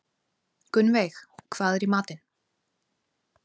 Gunnveig, hvað er í matinn?